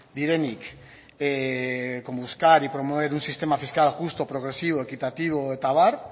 direnik con buscar y promover un sistema fiscal justo progresivo equitativo eta abar